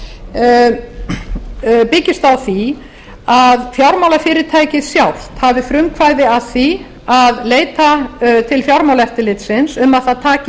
fjármálafyrirtækja byggist á því að fjármálafyrirtækið sjálft hafi frumkvæði að því að leita til fjármálaeftirlitsins um að það taki